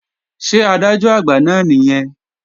Ṣé Adájọ́-Àgbà náà nìyẹn?